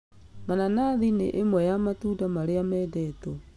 Mananathi nĩ ĩmwe ya matunda marĩa mendetwo